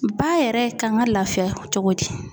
Ba yɛrɛ kan ka lafiya cogo di?